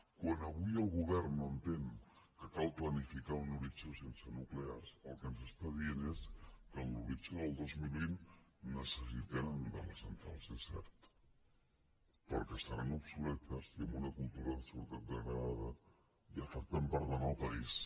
quan avui el govern no entén que cal planificar un horitzó sense nuclears el que ens està dient és que a l’horitzó del dos mil vint necessitem de les centrals és cert però que seran obsoletes i amb una cultura de seguretat degradada i afectant per tant el país